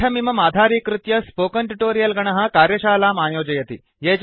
पाठमिमम् आधारीकृत्य spoken tutorial गणः कार्यशालाम् आयोजयति